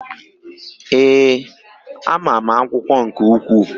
Ee, ama m akwụkwọ nke ukwuu.